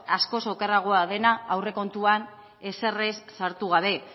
askoz okerragoa dena aurrekontuan ezer ere ez sartu gabe